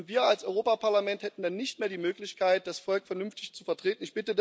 Und wir als Europäisches Parlament hätten dann nicht mehr die Möglichkeit, das Volk vernünftig zu vertreten.